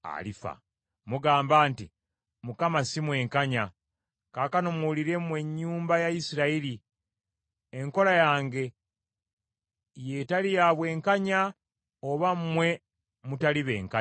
“Mugamba nti, ‘Mukama si mwenkanya.’ Kaakano muwulire mwe ennyumba ya Isirayiri, enkola yange y’etali ya bwenkanya oba mmwe mutali benkanya?